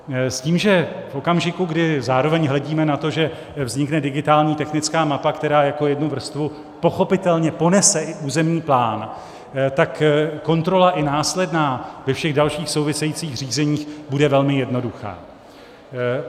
S tím, že v okamžiku, kdy zároveň hledíme na to, že vznikne digitální technická mapa, která jako jednu vrstvu pochopitelně ponese i územní plán, tak kontrola, i následná, ve všech dalších souvisejících řízeních bude velmi jednoduchá.